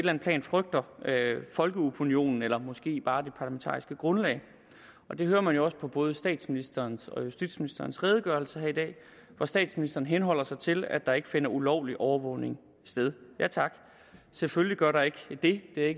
andet plan frygter folkeopinionen eller måske bare det parlamentariske grundlag og det kan man jo også høre på både statsministerens og justitsministerens redegørelse her i dag hvor statsministeren henholder sig til at der ikke finder ulovlig overvågning sted ja tak selvfølgelig gør der ikke det det er